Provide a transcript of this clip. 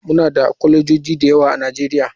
Muna da kwalejoji da yawa a nigeria.